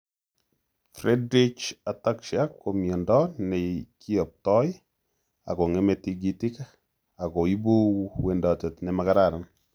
Friedreich ataxia ko myondo nekiyoptoi akong'eme tigitik ako ibu wendoet nemakararan